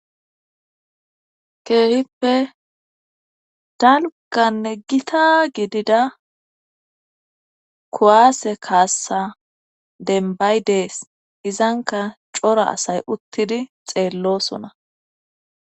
Keehippe dalgganne gita gidida kuwaase kaassa denbay dees izanka cora asay uttidi xeellosona.